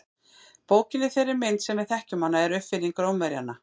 Bókin í þeirri mynd sem við þekkjum hana er uppfinning Rómverjanna.